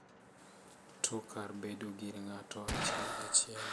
To kar bedo gir ng’ato achiel achiel.